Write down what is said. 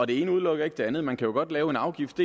det ene udelukker ikke det andet man kan godt lave en afgift